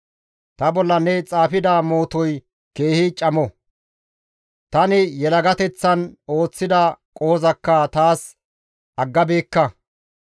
Ta bolla ne xaafida mootoy keehi camo; tani yelagateththan ooththida qohozakka taas aggabeekka.